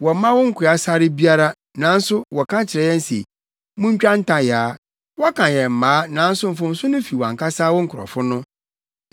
Wɔmma wo nkoa sare biara, nanso wɔka kyerɛ yɛn se, ‘Montwa ntayaa!’ Wɔka yɛn mmaa nanso mfomso no fi wʼankasa wo nkurɔfo no.”